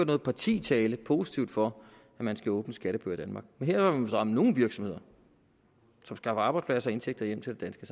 noget parti tale positivt for at man skal åbne skattebøger i danmark men her vil ramme nogle virksomheder som skaffer arbejdspladser og indtægter hjem til det